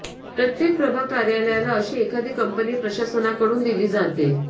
प्रत्येक प्रभाग कार्यालयाला अशी एखादी कंपनी प्रशासनाकडून दिली जाते